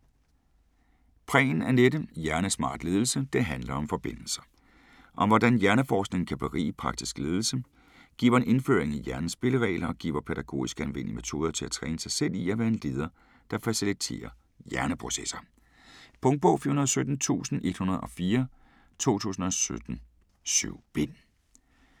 Prehn, Anette: Hjernesmart ledelse: det handler om forbindelser Om hvordan hjerneforskningen kan berige praktisk ledelse. Giver en indføring i hjernens spilleregler og giver pædagogisk anvendelige metoder til at træne sig selv i at være en leder der faciliterer hjerneprocesser. Punktbog 417104 2017. 7 bind.